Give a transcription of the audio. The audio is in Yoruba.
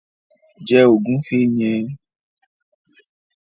Jẹ ògúnfe yẹn!